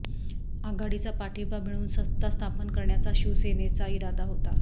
आघाडीचा पाठिंबा मिळवून सत्ता स्थापन करण्याचा शिवसेनेचा इरादा होता